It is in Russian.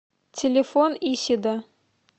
телефон исида